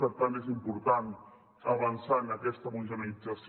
per tant és important avançar en aquesta homogeneïtzació